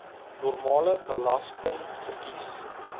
normale belasting verkies